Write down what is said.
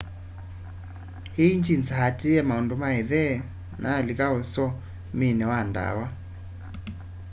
lĩggĩns atĩĩye maũndũ ma ĩthe na alĩka ũsomĩnĩ wa dawa